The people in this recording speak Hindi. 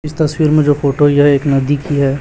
इस तस्वीर में जो फोटो यह एक नदी की है।